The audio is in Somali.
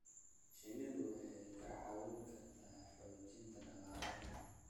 Shinnidu waxay kaa caawin kartaa xoojinta dhaqaalaha.